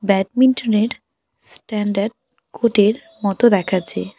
Badminton -এর standard court -এর মতো দেখাচ্ছে।